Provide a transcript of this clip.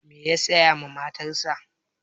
Me ya saya ma matarsa?